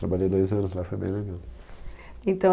Trabalhei dois anos lá, foi bem legal. Então